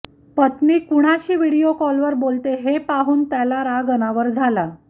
पत्नी कुणाशी व्हिडिओ कॉलवर बोलते हे पाहून त्याला राग अनावर झाला